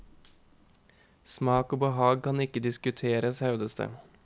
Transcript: Smak og behag kan ikke diskuteres, hevdes det.